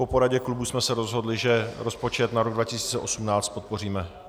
Po poradě klubu jsme se rozhodli, že rozpočet na rok 2018 podpoříme.